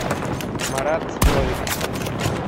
марат новиков